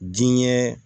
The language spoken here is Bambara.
Diɲɛ